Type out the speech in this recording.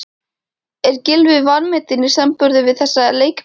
Er Gylfi vanmetinn í samanburði við þessa leikmenn?